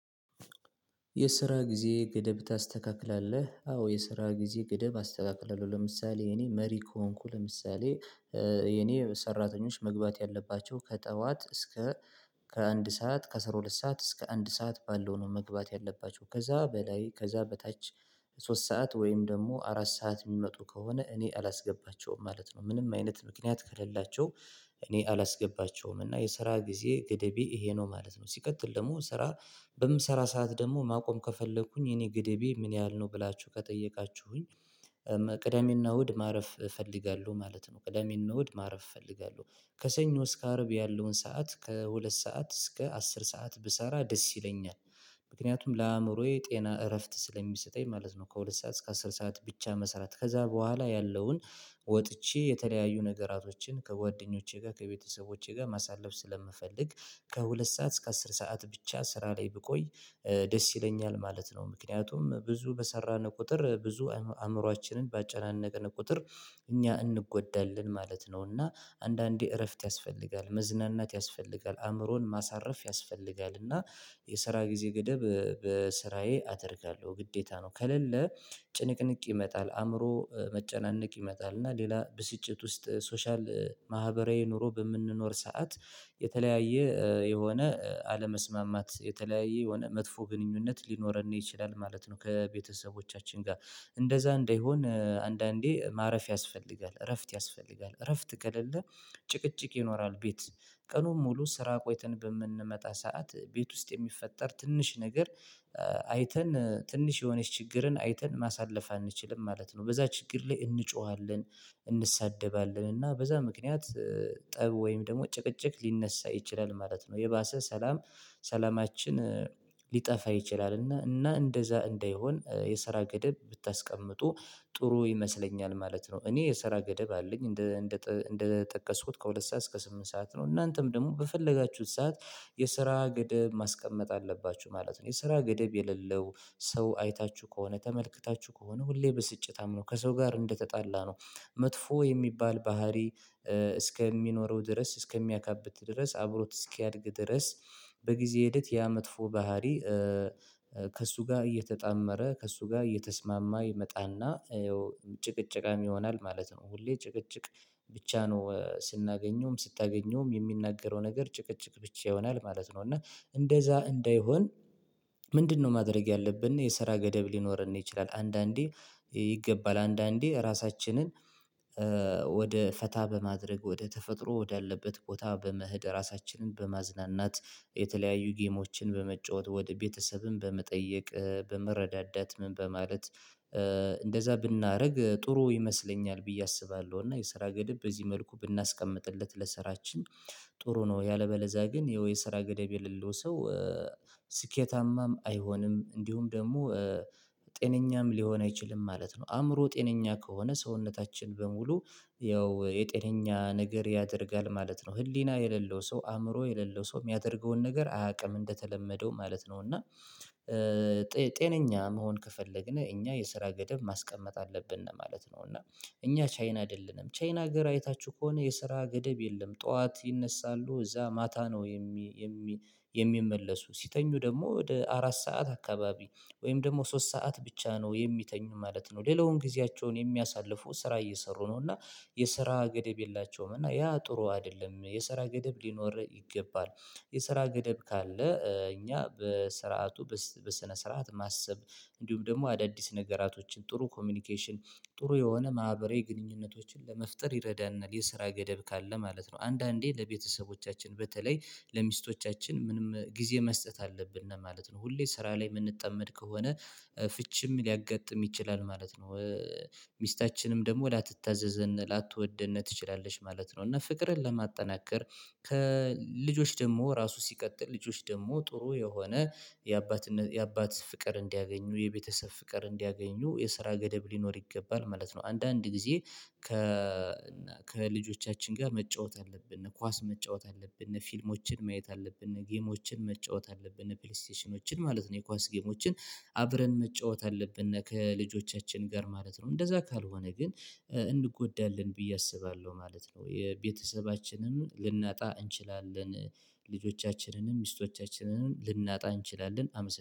የስራ ጊዜ ገደብ ታስተካክላለህ? አዎ የስራ ጊዜ ገደብ አስተካክላለሁ። ለምሳሌ እኔ መሪ ከሆንኩ ለምሳሌ እኔ ሰራተኞች መግባት ያለባቸው ከጠዋት እስከ ከአንድ ሰዓት ከአስራ ሁለት ሰዓት እስከ አንድ ሰዓት ባለው ነው መግባት ያለባቸው ከዛ በላይ ከዛ በታች ሶስት ሰዓት ወይም ደግሞ አራት ሰዓት የሚመጡ ከሆነ እኔ አላስገባቸውም ማለት ነው። ምንም አይነት ምክንያት ከሌላቸው እኔ አላስገባቸውም እና የስራ ጊዜ ገደቤ ይሄ ነው ማለት ነው። ሲቀጥል ደግሞ ስራ በምሰራ ሰዓት ደግሞ ማቆም ከፈለኩኝ የኔ ገደቤ ምን ያህል ነው ብላችሁ ከጠየቃችሁኝ ቅደሜ እና እሁድ ማረፍ እፈልጋለሁ ማለት ነው። ቅዳሜ እና እሁድ ማረፍ እፈልጋለሁ። ከሰኞ እስከ አርብ ያለውን ሰዓት ከሁለት ሰዓት እስከ አስር ሰዓት ብሰራ ደስ ይለኛል። ምክንያቱም ለአእምሮዬ ጤና እረፍት ስለሚሰጠኝ ማለት ነው። ከሁለት ሰዓት እስከ አስር ሰዓት ብቻ መሰራት ከዛ በኋላ ያለውን ወጥቼ የተለያዩ ነገራቶችን ከጓደኞቼ ጋር ከቤተሰቦቼ ጋር ማሳለፍ ስለምፈልግ። ከሁለት ሰዓት እስከ አስር ሰዓት ብቻ ስራ ላይ ብቆይ ደስ ይለኛል ማለት ነው። ምክንያቱም ብዙ በሰራን ቁጥር ብዙ አእምሮአችንን ባጨናነቅን ቁጥር እኛ እንጎዳለን ማለት ነው። እና አንዳንዴ እረፍት ያስፈልጋል መዝናናት ያስፈልጋል አእምሮን ማሳረፍ ያስፈልጋል እና የስራ ጊዜ ገደብ በስራዬ አደርጋለሁ ግዴታ ነው። ከሌለ ጭንቅንቅ ይመጣል አእምሮ መጨናነቅ ይመጣል እና ሌላ ብስጭት ውስጥ ሶሻል ማህበራዊ ኑሮ በምንኖር ሰዓት የተለያየ የሆነ አለመስማማት የተለያየ የሆነ መጥፎ ግንኙነት ሊኖረን ይችላል ማለት ነው። ከቤተሰቦቻችን ጋር እንደዛ እንዳይሆን አንዳንዴ ማረፍ ያስፈልጋል እረፍት ያስፈልጋል እረፍት ከሌለ ጭቅጭቅ ይኖራል። ቤት ቀኑን ሙሉ ስራ ቆይተን በምንመጣ ሰዓት ቤት ውስጥ የሚፈጠር ትንሽ ነገር አይተን ትንሽ የሆነች ችግርን አይተን ማሳለፍ አንችልም ማለት ነው። በዛ ችግር ላይ እንጮሃለን እንሳደባለን እና በዛ ምክንያት ጠብ ወይም ደግሞ ጭቅጭቅ ሊነሳ ይችላል ማለት ነው። የባሰ ሰላም ሰላማችን ሊጠፋ ይችላል እና እንደዛ እንደይሆን የሰራ ገደብ ብታስቀምጡ ጥሩ ይመስለኛል ማለት ነው። እኔ የሰራ ገደብ አለኝ እንደ እንደ እንደጠቀስኩት ከሁለት ሰዓት እስከ ስምንት ሰዓት ነው። እናንተም ደግሞ በፈለጋችሁት ሰዓት የስራ ገደብ ማስቀመጥ አለባችሁ ማለት ነው። የስራ ገደብ የሌለው ሰው አይታችሁ ከሆነ ተመልክታችሁ ከሆነ ሁሌ ብስጭታም ነው ከሰው ጋር እንደተጣላ ነው መጥፎ የሚባል ባህሪ። እስከሚኖረው ድረስ እስከሚያካብት ድረስ አብሮት እስኪያድግ ድረስ በጊዜ ሂደት ያ መጥፎ ባህሪ። ከእሱ ጋር እየተጣመረ ከእሱ ጋር እየተስማማ ይመጣ እና ያው ጭቅጭቃም ይሆናል ማለት ነው ሁሌ ጭቅጭቅ ብቻ ነው ስናገኘውም ስታገኘውም የሚናገረው ነገር ጭቅጭቅ ብቻ ይሆናል ማለት ነው። እና እንደዛ እንዳይሆን ምንድነው? ማድረግ ያለብን የሰራ ገደብ ሊኖርን ይችላል አንዳንዴ ይገባል አንዳንዴ ራሳችንን ወደ ፈታ በማድረግ ወደ ተፈጥሮ ወዳለበት ቦታ በመሄድ ራሳችንን በማዝናናት የተለያዩ ጌሞችን በመጫወት ወደ ቤተሰብም በመጠየቅ በመረዳዳት ምን በማለት እንደዛ ብናደርግ ጥሩ ይመስለኛል ብዬ አስባለሁ። እና የስራ ገደብ በዚህ መልኩ ብናስቀምጥለት ለስራችን ጥሩ ነው። ያለበለዛ ግን ይኸው የስራ ገደብ የሌለው ሰው ስኬታማም አይሆንም እንዲሁም ደግሞ ጤነኛም ሊሆን አይችልም ማለት ነው። አእምሮ ጤነኛ ከሆነ ሰውነታችን በሙሉ ያው የጤነኛ ነገር ያደርጋል ማለት ነው። ህሊና የሌለው ሰው አእምሮ የሌለው ሰው የሚያደርገውን ነገር አያውቅም እንደተለመደው ማለት ነው። እና መሆን ከፈለግን እኛ የስራ ገደብ ማስቀመጥ አለብን ነው ማለት ነው። እና እኛ ቻይና አይደለንም ቻይና ሀገር አይታችሁ ከሆነ የስራ ገደብ የለም ጠዋት ይነሳሉ እዛ ማታ ነው። የሚመለሱ ሲተኙ ደግሞ ወደ አራት ሰዓት አካባቢ ወይም ደግሞ ሶስት ሰዓት ብቻ ነው የሚተኙ ማለት ነው። ሌላውን ጊዜያቸውን የሚያሳልፉ ስራ እየሰሩ ነው እና የስራ ገደብ የላቸውም እና ያ ጥሩ አይደለም። የሰራ ገደብ ሊኖር ይገባል የሰራ ገደብ ካለ እኛ በስርዓቱ በስነ ስርዓት ማሰብ እንዲሁም ደግሞ አዳዲስ ነገራቶችን ጥሩ ኮሚኒኬሽን ጥሩ የሆነ ማህበራዊ ግንኙነቶችን ለመፍጠር ይረዳናል የስራ ገደብ ካለ ማለት ነው። አንዳንዴ ለቤተሰቦቻችን በተለይ ለሚስቶቻችን ምንም ጊዜ መስጠት አለብን ማለት ነው። ሁሌ ስራ ላይ የምንጠመድ ከሆነ ፍቺም ሊያጋጥም ይችላል ማለት ነው። ሚስታችንም ደግሞ ላተታዘዘን ላተወደን ትችላለች ማለት ነው። እና ፍቅርን ለማጠናከር ከልጆች ደግሞ ራሱ ሲቀጥል ልጆች ደግሞ ጥሩ የሆነ የአባትነት የአባት ፍቅር እንዲያገኙ የቤተሰብ ፍቅር እንዲያገኙ የስራ ገደብ ሊኖር ይገባል ማለት ነው። አንዳንድ ጊዜ ከ ከልጆቻችን ጋር መጫወት አለብን እነኳስ መጫወት አለብን እነፊልሞችን ማየት አለብን እነጌሞችን መጫወት አለብን እነፕሌይስቴሽኖችን ማለት ነው የኳስ ጌሞችን አብረን መጫወት አለብን ከልጆቻችን ጋር ማለት ነው። እንደዛ ካልሆነ ግን እንጎዳለን ብዬ አስባለሁ ማለት ነው። የቤተሰባችንን ልናጣ እንችላለን ልጆቻችንንም ሚስቶቻችንንም ልናጣ እንችላለን አመሰግናለሁ